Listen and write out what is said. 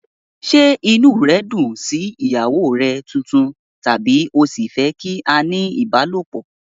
Ṣé inú rẹ dùn sí ìyàwó rẹ tuntun tàbí o ṣì fẹ́ kí a ní ìbálòpọ̀?